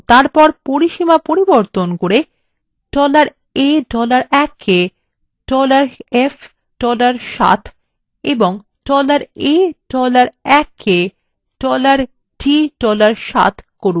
এবং তারপর পরিসীমা পরিবর্তন করে $a $1 কে sf $7 এবং $a $1 কে $d $7 করুন